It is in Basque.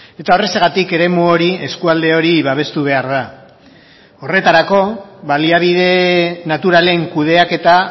eta horrexegatik eremu hori eskualde hori babestu behar da horretarako baliabide naturalen kudeaketa